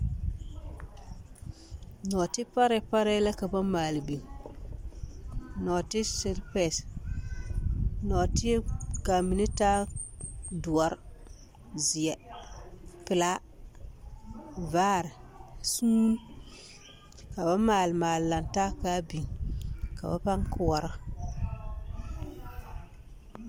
Nɔɔte parɛɛ parɛɛ la ka ba maale biŋ, nɔɔte selepɛɛse, nɔɔte k'a mine taa doɔre, zeɛ, pelaa, vaare, suuni ka ba maale maale lantaa k'a biŋ ka ba pãã koɔrɔ.